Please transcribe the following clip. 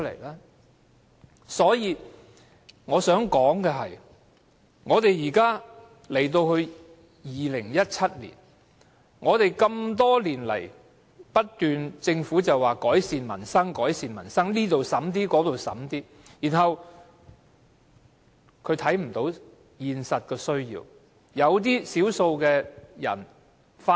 因此，我想指出，現在已是2017年，政府多年來不斷表示會改善民生，這方面花一點錢，那方面花一點錢，但卻未有看到實際的需要。